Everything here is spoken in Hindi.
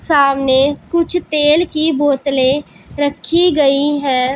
सामने कुछ तेल की बोतले रखी गई है।